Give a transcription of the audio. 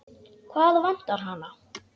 Hvað vantar hana?